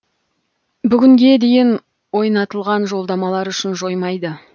бүгінге дейін ойнатылған жолдамалар күшін жоймайды